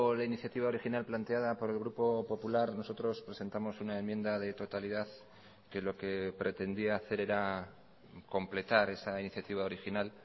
la iniciativa original planteada por el grupo popular nosotros presentamos una enmienda de totalidad que lo que pretendía hacer era completar esa iniciativa original